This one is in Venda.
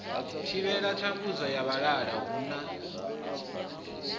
thivhela thambudzo ya vhalala huna